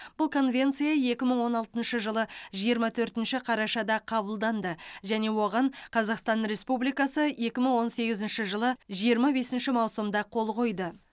бұл конвенция екі мың он алтыншы жылы жиырма төртінші қарашада қабылданды және оған қазақстан республикасы екі мың он сегізінші жылы жиырма бесінші маусымда қол қойды